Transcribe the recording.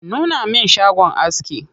Nuna min shagon aski.